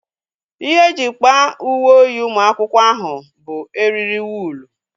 Ihe e ji kpaa uwe oyi ụmụ akwụkwọ ahụ bụ eriri wụlu